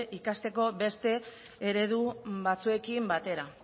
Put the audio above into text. ikasteko beste eredu batzuekin batera